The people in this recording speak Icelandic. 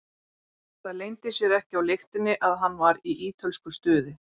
Það leyndi sér ekki á lyktinni að hann var í ítölsku stuði.